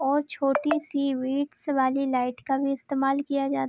और छोटी सी विट्स वाली लाइट का भी इस्तेमाल किया जा --